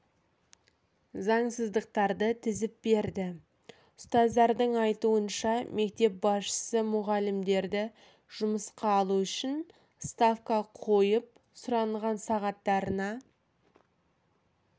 заңсыздықтарды тізіп берді ұстаздардың айтуынша мектеп басшысы мұғалімдерді жұмысқа алу үшін ставка қойып сұранған сағаттарына